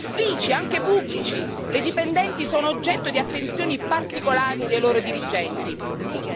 In quanti uffici, anche pubblici, le dipendenti sono oggetto di attenzioni particolari dei loro dirigenti?